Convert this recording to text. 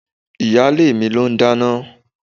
Ìyálé mi ló n dáná.